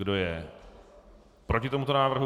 Kdo je proti tomuto návrhu?